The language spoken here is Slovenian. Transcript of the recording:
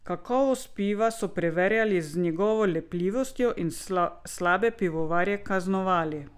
Kakovost piva so preverjali z njegovo lepljivostjo in slabe pivovarje kaznovali.